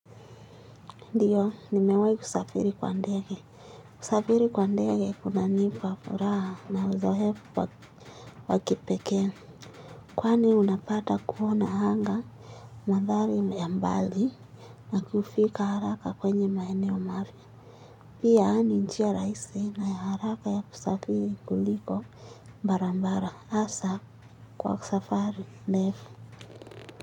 Ndiyo, nimewahi kusafiri kwa ndege. Kusafiri kwa ndege kunanipa furaha na uzoefu wa kipekee. Kwani unapata kuona anga mandhari ya mbali na kufika haraka kwenye maeneo mapya. Pia ni njia rahisi na ya haraka ya kusafiri kuliko barabara. Hasa kwa safari ndefu.